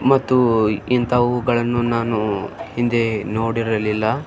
ಮತ್ತು ಇಂಥವುಗಳನ್ನು ನಾನು ಹಿಂದೆ ನೋಡಿರಲಿಲ್ಲ --